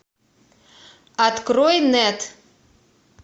открой нет